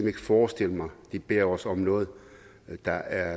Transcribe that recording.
ikke forestille mig at de beder os om noget der